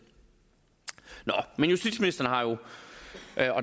men justitsministeren har jo